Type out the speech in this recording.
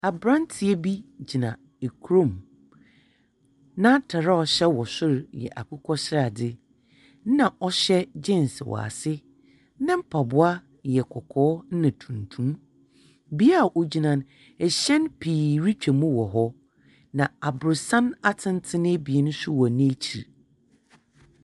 Aberantsɛ bi gyina kurom, n’atar a ɔhyɛ wɔ sor yɛ akokɔsrade na ɔhyɛ jeans wɔ ase, ne mpaboa yɛ kɔkɔɔ na tuntum. Bea a ogyina no, hyɛn pii rutwa mu wɔ hɔ. na aborɔsan atsentsen ebien so wɔ n’ekyir.